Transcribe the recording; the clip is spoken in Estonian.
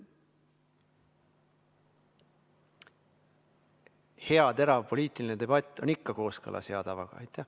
Hea terav poliitiline debatt on ikka kooskõlas hea tavaga.